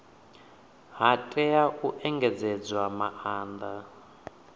ha tea u engedzedzwa maanda